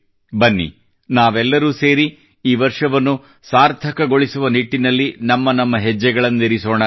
ಬನ್ನಿ ನಾವೆಲ್ಲರೂ ಸೇರಿ ಈ ವರ್ಷವನ್ನು ಸಾರ್ಥಕವನ್ನಾಗಿಸುವ ನಿಟ್ಟಿನಲ್ಲಿ ನಮ್ಮ ನಮ್ಮ ಹೆಜ್ಜೆಗಳನ್ನಿರಿಸೋಣ